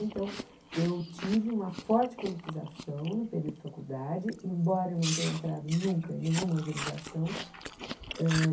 Então, eu tive uma forte politização no período de faculdade, embora eu não tenha entrado nunca em nenhuma organização.